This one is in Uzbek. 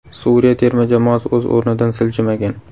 Suriya terma jamoasi o‘z o‘rnidan siljimagan.